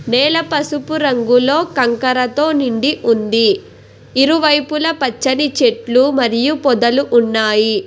నేల పసుపు రంగులో కంకరతో నిండి ఉంది ఇరువైపుల పచ్చని చెట్లు మరియు పొదలు ఉన్నాయి.